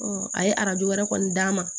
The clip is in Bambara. a ye arajo wɛrɛ kɔni d'a ma